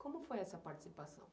Como foi essa participação?